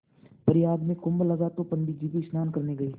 प्रयाग में कुम्भ लगा तो पंडित जी भी स्नान करने गये